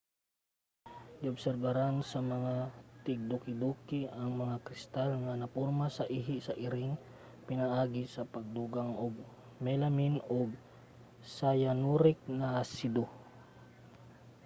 giobserbahan sa mga tigdukiduki ang mga kristal nga naporma sa ihi sa iring pinaagi sa pagdugang og melamine ug cyanuric nga asido